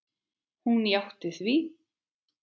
Hún játti því.